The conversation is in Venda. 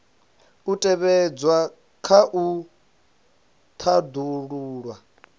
u tevhedzwa kha u tandulula